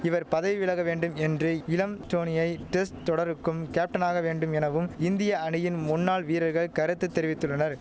இவர் பதவி விலக வேண்டும் என்று இளம் டோனியை டெஸ்ட் தொடருக்கும் கேப்டனாக வேண்டும் எனவும் இந்திய அணியின் முன்னாள் வீரர்கள் கருத்து தெரிவித்துள்ளனர்